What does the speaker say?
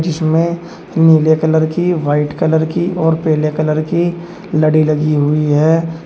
इसमें नीले कलर की वाइट कलर की और पीले कलर की लड़ी लगी हुई है।